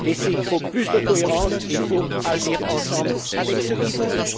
Il faut plus de cohérence et il faut agir ensemble avec ceux qui le veulent.